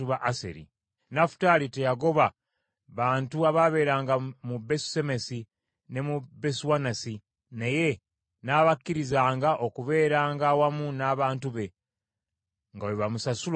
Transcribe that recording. Nafutaali teyagoba bantu abaabeeranga mu Besusemesi ne mu Besuanasi naye n’abakkirizanga okubeeranga awamu n’abantu be nga bwe bamusasula omusolo.